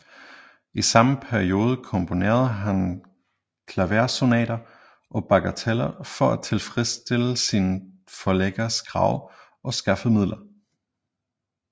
I samme periode komponerede han klaversonater og bagateller for at tilfredsstille sine forlæggeres krav og skaffe midler